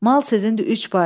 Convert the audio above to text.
Mal sizindir, üç pay.